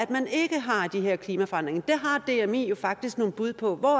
man ikke har de her klimaforandringer der har dmi jo faktisk nogle bud på hvor